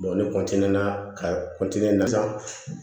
ne na ka na sisan